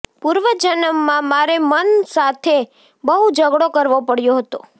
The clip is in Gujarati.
પૂર્વ જન્મમાં મારે મન સાથે બહુ ઝગડો કરવો પડ્યો હતો